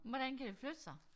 Men hvordan kan det flytte sig?